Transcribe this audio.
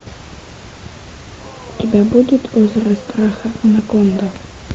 у тебя будет озеро страха анаконда